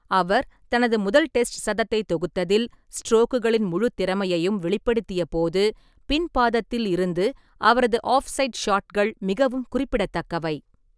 அவர் தனது முதல் டெஸ்ட் சதத்தை தொகுத்ததில் ஸ்ட்ரோக்குகளின் முழு திறமையையும் வெளிப்படுத்தியபோது , ​​பின் பாதத்தில் இருந்து அவரது ஆஃப்-சைட் ஷாட்கள் மிகவும் குறிப்பிடத்தக்கவை.